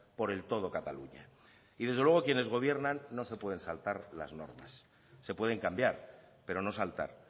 por el todo cataluña y desde luego quienes gobiernan no se pueden saltar las normas se pueden cambiar pero no saltar